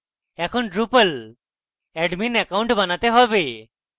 এখন drupal admin account বানাতে have